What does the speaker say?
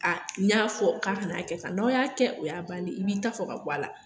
A n'i y'a fɔ k'a kana' kɛ tan, n'aw y'a kɛ o y'a bannen ye, i b'i ta fɔ ka bɔ a la.